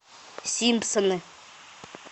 симпсоны